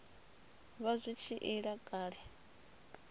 vha zwi tshi ila kale